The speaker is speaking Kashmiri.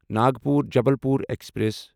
ناگپور جبلپور ایکسپریس